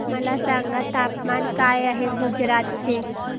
मला सांगा तापमान काय आहे गुजरात चे